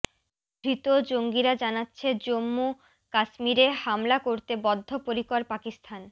ধৃত জঙ্গিরা জানাচ্ছে জন্মু কাশ্মীরে হামলা করতে বদ্ধ পরিকর পাকিস্তান